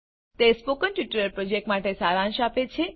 તે spoken tutorial પ્રોજેક્ટનો સારાંશ આપે છે